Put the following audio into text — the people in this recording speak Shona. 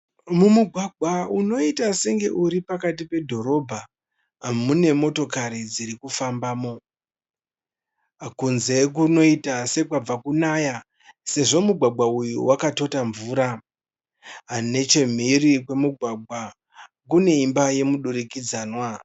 Mumugwagwa unoita senge uri pakati pedhorobha mune motokari dzirikufambamo. Kunze kunoita sekwabva kunaya sezvo mugwagwa uyu wakatota mvura . Nechemhiri kwemugwagwa kune imba yemudurikidzanwa.